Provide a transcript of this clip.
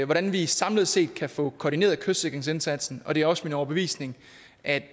hvordan vi samlet set kan få koordineret kystsikringsindsatsen og det er også min overbevisning at